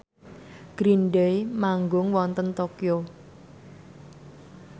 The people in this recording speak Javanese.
Green Day manggung wonten Tokyo